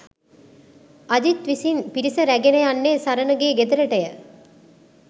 අජිත් විසින් පිරිස රැගෙන යන්නේ සරණගේ ගෙදරටය